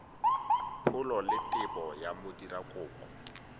pholo le tebo ya modirakopo